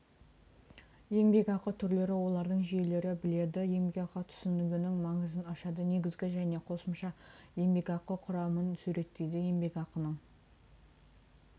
еңбекақы түрлері олардың жүйелері біледі еңбекақы түсінігінің маңызын ашады негізгі және қосымща еңбекақы құрамын суреттейді еңбекақының